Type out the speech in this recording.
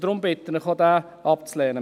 Daher bitte ich Sie, ihn abzulehnen.